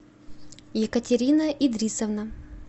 екатерина идрисовна